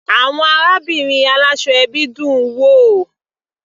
Àwọn arábìnrin aláṣọ ẹbí dùn-ún wò.